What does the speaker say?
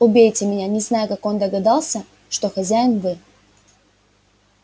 убейте меня не знаю как он догадался что хозяин вы